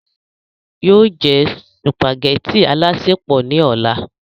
yóò jẹ sùpàgẹ́tì alásèpọ̀ ní ọ̀la